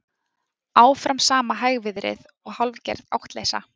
Áfram sama hægviðrið og hálfgerð áttleysa